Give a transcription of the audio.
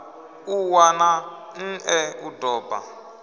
ṱuwa na nṋe u doba